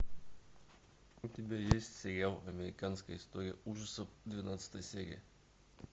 у тебя есть сериал американская история ужасов двенадцатая серия